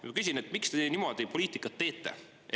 Ja ma küsin, et miks te niimoodi poliitikat teete.